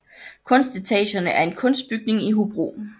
Kunstetagerne er en kunstbygning i Hobro